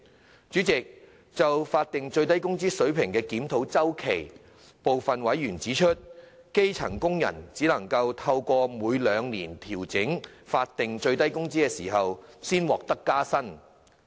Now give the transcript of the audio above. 代理主席，就法定最低工資水平的檢討周期，部分委員指出，基層工人只能透過每兩年調整法定最低工資時才獲得加薪。